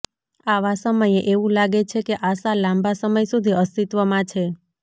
આવા સમયે એવું લાગે છે કે આશા લાંબા સમય સુધી અસ્તિત્વમાં છે